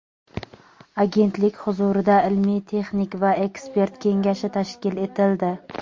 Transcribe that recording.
Agentlik huzurida Ilmiy texnik va ekspert kengashi tashkil etildi.